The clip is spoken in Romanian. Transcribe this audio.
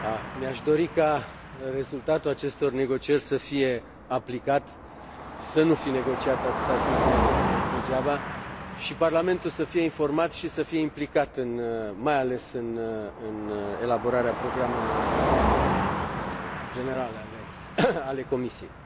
Mi aș dori ca rezultatul acestor negocieri să fie aplicat, să nu fi negociat atâta timp degeaba, și Parlamentul să fie informat și să fie implicat mai ales în elaborarea programelor generale ale Comisiei.